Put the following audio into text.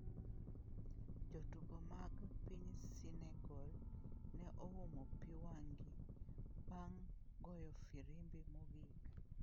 Jotugo mag piny Senegal ne oumo pi wang’gi bang’ goyo firimbi mogik.